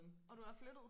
Og du er flyttet